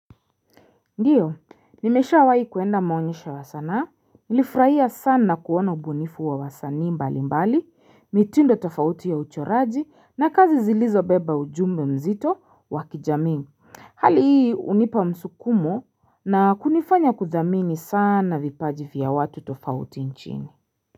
Ndiyo, nimeshawahi kuenda maonyesho wa sanaa, nilifuraia sana kuona mgunifu wa wasanii mbali mbali, mitindo tofauti ya uchoraji na kazi zilizo beba ujumbe mzito wakijamii Hali hii unipa msukumo na kunifanya kudhamini sana vipaji vya watu tofauti nchini.